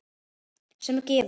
sem gefur